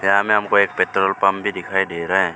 यहां में हमको एक पेट्रोल पंप भी दिखाई दे रहा है।